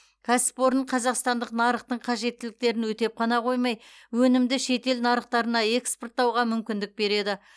кәсіпорын қазақстандық нарықтың қажеттіліктерін өтеп қана қоймай өнімді шетел нарықтарына экспорттауға мүмкіндік береді